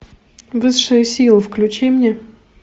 высшая сила включи мне